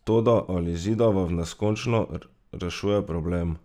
Toda ali zidava v neskončno rešuje problem?